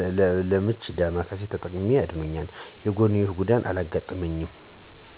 ሌላዉ ለምች ዳማከሴን ተጠቅሜ በሂደት አድኖኛል የጎንዮሽ ጉዳትም አላጋጠመኝም።